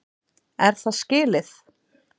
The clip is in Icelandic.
Er það skilið?!